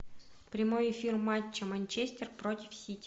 прямой эфир матча манчестер против сити